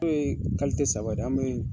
O ye saba, an be